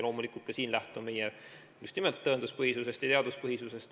Loomulikult, ka siin lähtume meie just nimelt tõenduspõhisusest ja teaduspõhisusest.